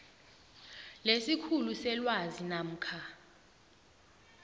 lesikhulu selwazi namkha